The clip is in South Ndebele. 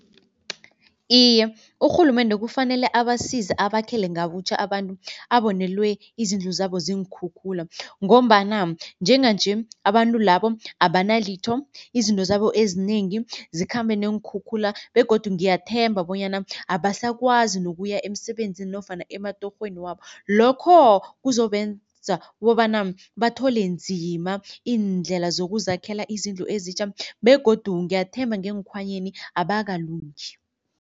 Iye, urhulumende kufanele abasiza abakhele ngabutjha abantu abonelwe izindlu zabo ziinkhukhula ngombana njenganje abantu labo abanalitho. Izinto zabo ezinengi zikhambe neenkhukhula begodu ngiyathemba bonyana abasakwazi nokuya emsebenzini nofana ematorhweni wabo. Lokho kuzobenza kobana bathole nzima iindlela zokuzakhela izindlu ezitjha begodu ngiyathemba ngeekhwanyeni abakalungi.